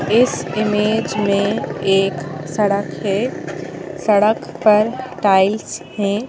इस इमेज में एक सड़क है सड़क पर टाइल्स हैं।